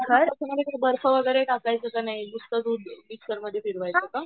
बर्फ वगैरे काय टाकायचं की नाही नुसतं दूध मिक्सरमध्ये फिरवायचं .